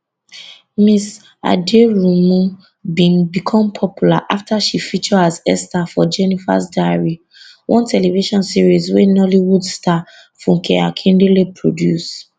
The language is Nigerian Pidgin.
ms aderounmu bin become popular afta she feature as esther for jenifas diary one television series wey nollywood star funke akindele produce